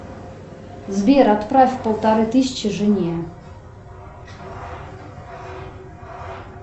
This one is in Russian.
сбер отправь полторы тысячи жене